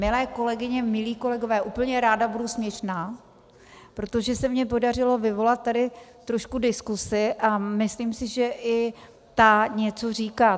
Milé kolegyně, milí kolegové, úplně ráda budu směšná, protože se mi podařilo vyvolat tady trošku diskuzi a myslím si, že i ta něco říká.